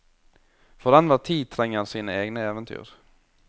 For enhver tid trenger sine egne eventyr.